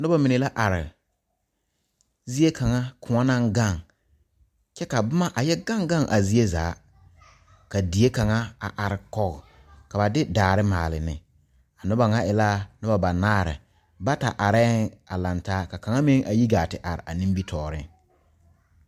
Noba mine la are zie kaŋ koɔ naŋ gaŋ kyɛ ka boma a yɛ gaŋ gaŋ a zie zaa ka die kaŋa a are kɔge ka ba de daare maale ne a noba ŋa e la nenbanaare bata arɛɛŋ a lantaa ka kaŋ meŋ a yi gaa te are a nimitɔɔreŋ.